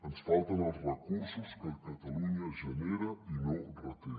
ens falten els recursos que catalunya genera i no reté